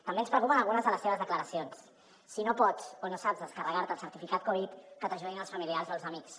també ens preocupen algunes de les seves declaracions si no pots o no saps descarregar te el certificat covid que t’ajudin els familiars o els amics